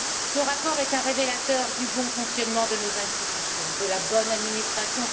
Ce rapport est un révélateur du bon fonctionnement de nos institutions, de la bonne administration.